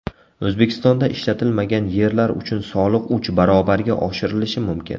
O‘zbekistonda ishlatilmagan yerlar uchun soliq uch barobarga oshirilishi mumkin.